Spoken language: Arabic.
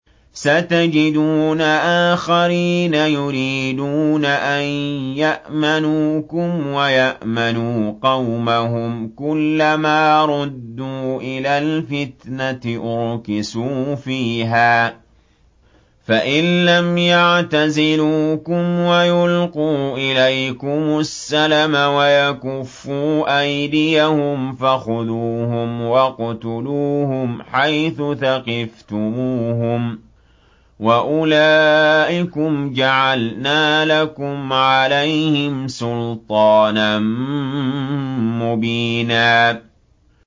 سَتَجِدُونَ آخَرِينَ يُرِيدُونَ أَن يَأْمَنُوكُمْ وَيَأْمَنُوا قَوْمَهُمْ كُلَّ مَا رُدُّوا إِلَى الْفِتْنَةِ أُرْكِسُوا فِيهَا ۚ فَإِن لَّمْ يَعْتَزِلُوكُمْ وَيُلْقُوا إِلَيْكُمُ السَّلَمَ وَيَكُفُّوا أَيْدِيَهُمْ فَخُذُوهُمْ وَاقْتُلُوهُمْ حَيْثُ ثَقِفْتُمُوهُمْ ۚ وَأُولَٰئِكُمْ جَعَلْنَا لَكُمْ عَلَيْهِمْ سُلْطَانًا مُّبِينًا